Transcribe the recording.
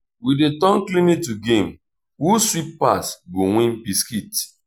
we dey turn cleaning to game who sweep pass go win biscuit.